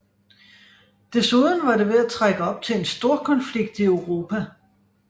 Desuden var det ved at trække op til en storkonflikt i Europa